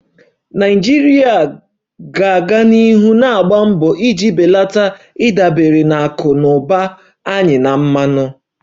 Nigeria ga-aga n'ihu na-agba mbọ iji belata ịdabere na akụ na ụba anyị na mmanụ